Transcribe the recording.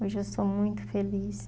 Hoje eu sou muito feliz.